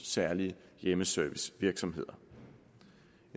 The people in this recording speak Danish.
særlige hjemmeservicevirksomheder